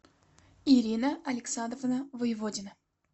ирина александровна воеводина